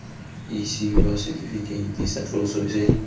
isiwa setifikeiti sa tloso se